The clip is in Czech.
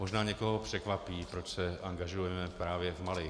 Možná někoho překvapí, proč se angažujeme právě v Mali.